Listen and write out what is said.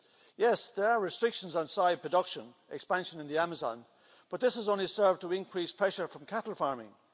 Yes, there are restrictions on soy production expansion in the Amazon, but this has only served to increase pressure from cattle farming.